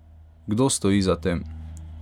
Kdo stoji za tem?